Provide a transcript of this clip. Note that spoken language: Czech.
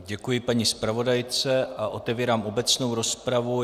Děkuji paní zpravodajce a otevírám obecnou rozpravu.